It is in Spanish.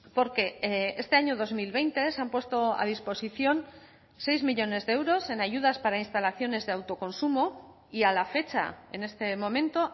porque este año dos mil veinte se han puesto a disposición seis millónes de euros en ayudas para instalaciones de autoconsumo y a la fecha en este momento